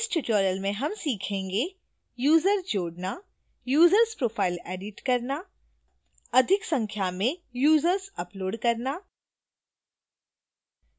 इस tutorial में हम सीखेंगे